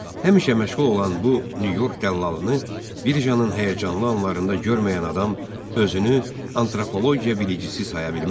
Həmişə məşğul olan bu Nyu-York dəllalını birjanın həyəcanlı anlarında görməyən adam özünü antropologiya bilicisi saya bilməz.